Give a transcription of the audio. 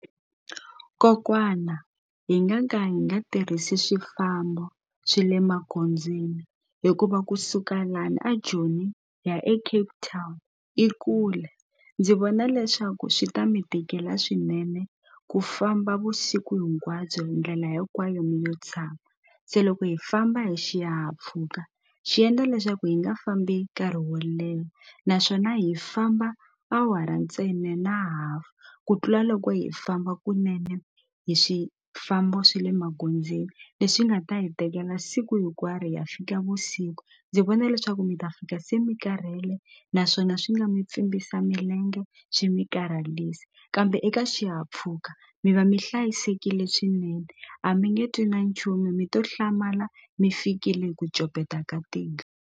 Kokwana hi nga ka hi nga tirhisi swifambo swe le magondzweni hikuva kusuka lani a Joni hi ya eCape Town i kule ndzi vona leswaku swi ta mi tikela swinene ku famba vusiku hinkwabyo ndlela hinkwayo mi yo tshama se loko hi famba hi xihahampfhuka xi endla leswaku hi nga fambi nkarhi wo leha naswona hi famba awara ntsena na half ku tlula loko hi famba kunene hi swifambo swe le magondzweni leswi nga ta hi tekela siku hinkwaro hi ya fika vusiku ndzi vona leswaku mi ta fika se mi karhele naswona swi nga mi pfimbisa milenge swi mi karhalisa kambe eka xihahampfhuka mi va mi hlayisekile swinene a mi nge twi na nchumu mi to hlamala mi fikile hi ku copeta ka tihlo.